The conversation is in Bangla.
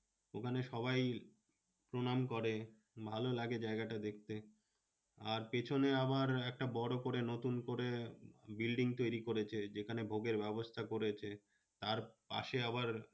ওখানে সবাই প্রণাম করে ভালো লাগে জায়গাটা দেখতে। আর পেছনে আবার একটা বড় করে নতুন করে building তৈরী করেছে। যেখানে ভোগের ব্যবস্থা করেছে। তার পাশে আবার